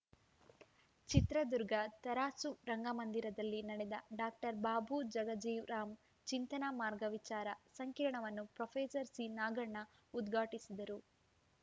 ಚಿತ್ರದುರ್ಗ ತರಾಸು ರಂಗಮಂದಿರದಲ್ಲಿ ನಡೆದ ಡಾಕ್ಟರ್ ಬಾಬೂ ಜಗಜೀವರಾಮ್‌ ಚಿಂತನ ಮಾರ್ಗ ವಿಚಾರ ಸಂಕಿರಣವನ್ನು ಪ್ರೊಫೆಸರ್ ಸಿನಾಗಣ್ಣ ಉದ್ಘಾಟಿಸಿದರು